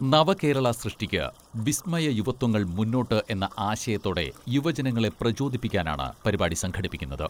നവകേരള സൃഷ്ടിക്ക് വിസ്മയ യുവത്വങ്ങൾ മുന്നോട്ട് എന്ന ആശയത്തോടെ യുവജനങ്ങളെ പ്രചോദിപ്പിക്കാനാണ് പരിപാടി സംഘടിപ്പിക്കുന്നത്.